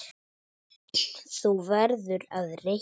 Þú verður að reikna